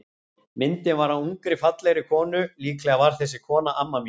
Myndin var af ungri, fallegri konu, líklega var þessi kona amma mín.